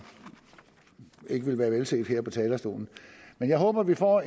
ikke ville være velsete her på talerstolen men jeg håber vi får